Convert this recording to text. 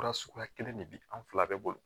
Fura suguya kelen de bɛ an fila bɛɛ bolo